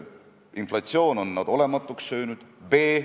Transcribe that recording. " Me näeme, et selline eiramine toimub igal pool, ja otsime teid, kuidas midagi ära teha.